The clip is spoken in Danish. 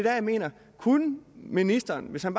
jeg mener kunne ministeren hvis han